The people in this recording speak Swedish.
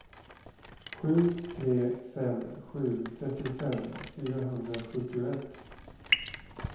sju tre fem sju trettiofem fyrahundrasjuttioett